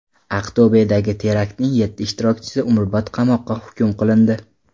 Aqto‘bedagi teraktning yetti ishtirokchisi umrbod qamoqqa hukm qilindi.